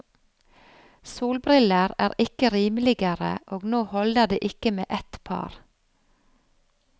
Solbriller er ikke rimeligere, og nå holder det ikke med ett par.